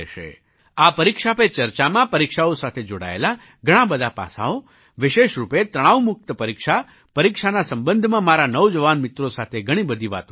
આ પરીક્ષા પે ચર્ચામાં પરીક્ષાઓ સાથે જોડાયેલાં બધાં પાસાંઓ વિશેષ રૂપે તણાવમુક્ત પરીક્ષા પરીક્ષાના સંબંધમાં મારા નૌજવાન મિત્રો સાથે ઘણી બધી વાતો કરીશ